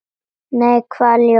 Nei, hvaða ljós?